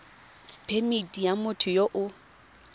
phemithi ya motho yo o